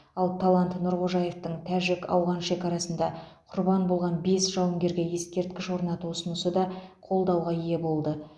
ал талант нұрғожаевтың тәжік ауған шекарасында құрбан болған бес жауынгерге ескерткіш орнату ұсынысы да қолдауға ие болды